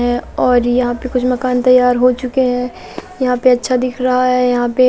है और यहां पे कुछ मकान तैयार हो चुके हैं यहां पे अच्छा दिख रहा है यहां पे--